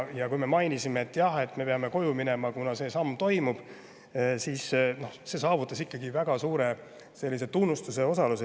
Kui me mainisime, et me peame koju minema, kuna see samm toimub, siis sai see saavutus ikkagi väga suure tunnustuse osaliseks.